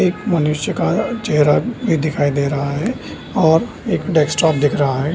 एक मनुष्य का चेहरा भी दिखाई दे रहा हैऔर एक डेस्कटॉप दिख रहा है।